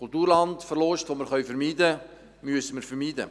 Einen Kulturlandverlust, den wir vermeiden können, müssen wir vermeiden.